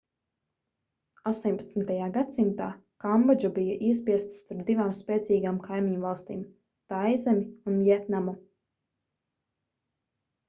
18. gadsimtā kambodža bija iespiesta starp divām spēcīgām kaimiņvalstīm taizemi un vjetnamu